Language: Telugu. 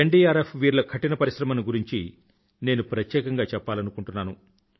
ఎన్డీఆర్ఎఫ్ వీరుల కఠిన పరిశ్రమను గురించి నేను ప్రత్యేకంగా చెప్పలనుకుంటున్నాను